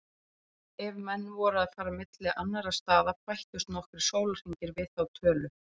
Ef menn voru að fara milli annarra staða bættust nokkrir sólarhringar við þá tölu.